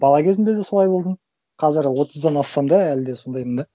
бала кезімде де солай болдым қазір отыздан ассам да әлі де сондаймын да